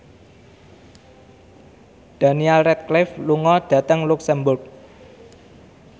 Daniel Radcliffe lunga dhateng luxemburg